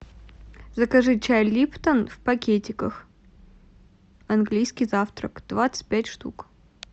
закажи чай липтон в пакетиках английский завтрак двадцать пять штук